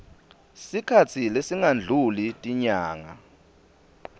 sikhatsi lesingadluli tinyanga